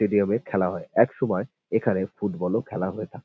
stadium এ খেলা হয় একসময় এখানে ফুটবল ও খেলা হয়ে থাক--